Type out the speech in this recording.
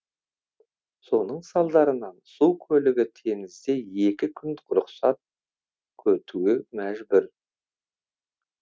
соның салдарынан су көлігі теңізде екі күн рұқсат күтуге мәжбүр